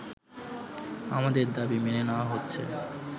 আমাদের দাবি মেনে নেওয়া হচ্ছে